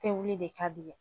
Tewuli de ka di i ye